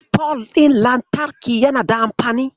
Fol ɗin lantarki yana da anfani.